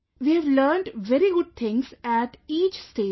We have learnt very good things at each stage